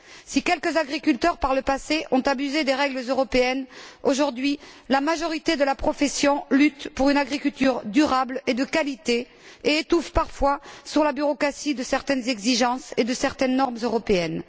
Si quelques agriculteurs, par le passé, ont abusé des règles européennes, aujourd'hui, la majorité de la profession lutte pour une agriculture durable et de qualité et étouffe parfois sous la bureaucratie de certaines exigences et de certaines normes européennes.